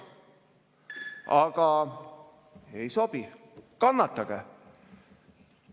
Aga see ei sobi, kannatage.